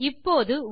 இப்போது ஒரு